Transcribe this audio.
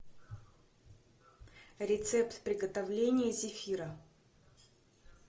рецепт приготовления зефира